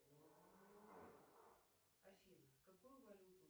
афина какую валюту